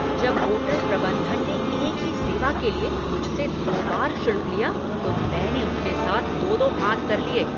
जब होटल प्रबंधन ने एक ही सेवा के लिए मुझसे दो बार शुल्क लिया तो मैंने उनके साथ दो दो हाथ कर लिया।